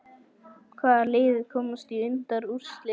Hvaða lið komast í undanúrslit?